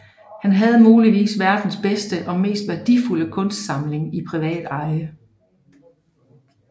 Han havde muligvis verdens bedste og mest værdifulde kunstsamling i privat eje